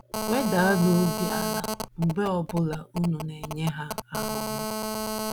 Wedanụ obi ala mgbe ọ bụla unu na - enye ha ahụhụ.